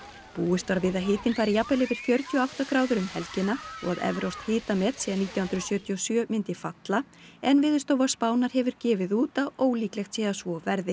búist var við að hitinn færi jafnvel yfir fjörutíu og átta gráður um helgina og að evrópskt hitamet síðan nítján hundruð sjötíu og sjö myndi falla en Veðurstofa Spánar hefur gefið það út að ólíklegt sé að svo verði